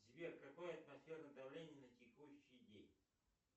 сбер какое атмосферное давление на текущий день